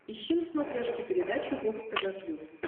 ищи на смотрешке передачу бокс тв плюс